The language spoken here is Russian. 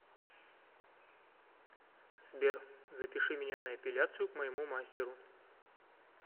сбер запиши меня на эпиляцию к моему мастеру